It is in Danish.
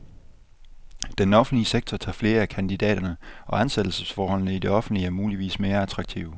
Den offentlige sektor tager flere af kandidaterne, og ansættelsesforholdene i det offentlige er muligvis mere attraktive.